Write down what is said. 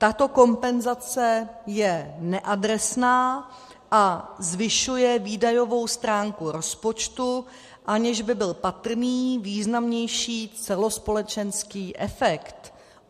Tato kompenzace je neadresná a zvyšuje výdajovou stránku rozpočtu, aniž by byl patrný významnější celospolečenský efekt.